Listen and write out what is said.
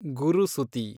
ಗುರುಸುತಿ